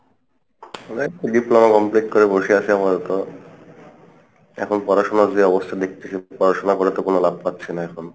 এই Diploma complete করে বসে আসি আপাতত এখন পড়াশোনার যে অবস্থা দেখতেছি , পড়াশোনা করে তো কোনো লাভ পাচ্ছি না এখন,